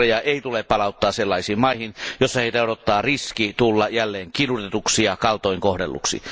Uhreja ei tule palauttaa sellaisiin maihin, joissa heitä odottaa riski tulla jälleen kidutetuksi ja kaltoin kohdelluksi.